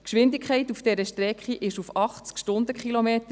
Die Höchstgeschwindigkeit auf dieser Strecke beträgt 80 Stundenkilometer.